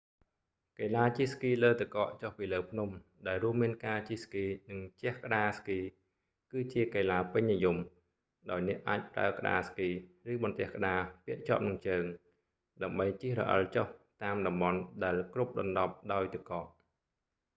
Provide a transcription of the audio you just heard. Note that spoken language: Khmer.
កីឡាជិះស្គីលើទឹកកកចុះពីលើភ្នំ ដែលរួមមានការជិះស្គី និងជះក្ដារស្គី គឺជាកីឡាពេញនិយម ដោយអ្នកអាចប្រើក្ដារស្គី ឬបន្ទះក្ដារពាក់ជាប់នឹងជើង ដើម្បីជិះរអិលចុះតាមតំបន់ដែលគ្រប់ដណ្ដប់ដោយទឹកកក